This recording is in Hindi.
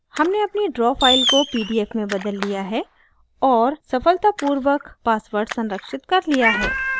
हमने अपनी draw file को pdf में बदल लिया है और सफलतापूर्वक passwordसंरक्षित कर लिया है